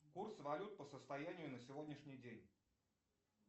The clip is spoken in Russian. курс валют по состоянию на сегодняшний день